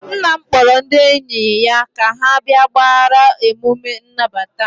nna m kpọrọ ndị enyi ya ka ha bịa gbaara emume nnabata m